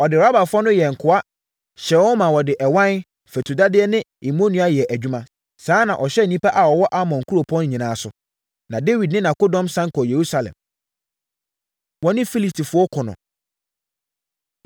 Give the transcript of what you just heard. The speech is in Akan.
Ɔde Rabafoɔ no yɛɛ nkoa, hyɛɛ wɔn ma wɔde ɛwan, fatudadeɛ ne mmonnua yɛɛ adwuma. Saa ara na ɔhyɛɛ nnipa a wɔwɔ Amon nkuropɔn nyinaa so. Na Dawid ne nʼakodɔm sane kɔɔ Yerusalem. Wɔne Filistifoɔ Ko No